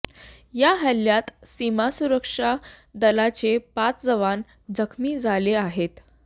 या हल्ल्यात सीमा सुरक्षा दलाचे पाच जवान जखमी झाले आहेत